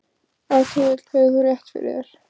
Ef til vill hefur þú rétt fyrir þér.